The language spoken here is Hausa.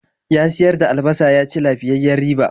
Ya siyar da albasa ya ci lafiyayyiyar riba.